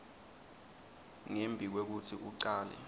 ngembi kwekutsi ucale